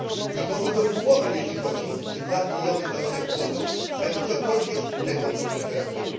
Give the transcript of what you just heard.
Nikomu do głowy nie przychodzi, że dwa biliony wywalone w błoto, mają cokolwiek wspólnego z temperaturą.